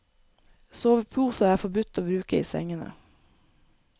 Sovepose er forbudt å bruke i sengene.